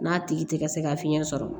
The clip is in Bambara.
N'a tigi tɛ ka se ka fiɲɛ sɔrɔ